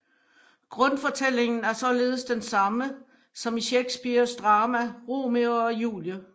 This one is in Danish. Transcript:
Grundfortællingen er således den samme som i Shakespeares drama Romeo og Julie